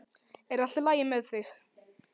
Er allt í lagi með þig?